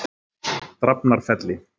Drafnarfelli